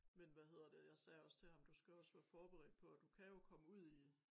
Men hvad hedder det jeg sagde også til ham du skal også være forberedt på at du kan jo komme ud i